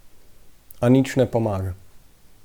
A nič ne pomaga.